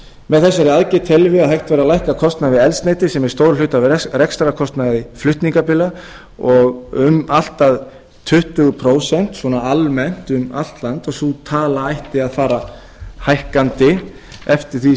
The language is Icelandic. með þessari aðgerð teljum við að hægt væri að lækka kostnað við eldsneyti sem er stór hluti af rekstrarkostnaði flutningabíla um allt að tuttugu prósent svona almennt um allt land og sú tala ætti að fara hækkandi eftir því